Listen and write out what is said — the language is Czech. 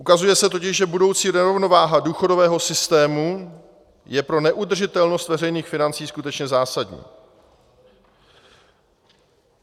Ukazuje se totiž, že budoucí nerovnováha důchodového systému je pro neudržitelnost veřejných financí skutečně zásadní.